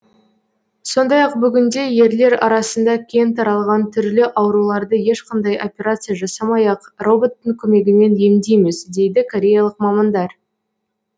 сондай ақ бүгінде ерлер арасында кең таралған түрлі ауруларды ешқандай операция жасамай ақ роботтың көмегімен емдейміз дейді кореялық мамандар